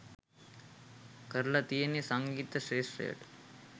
කරල තියෙන්නේ සංගීත ක්ෂේත්‍රයට